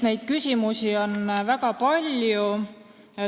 Neid küsimusi on väga palju.